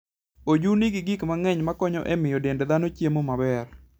Oju nigi gik mang'eny makonyo e miyo dend dhano chiemo maber.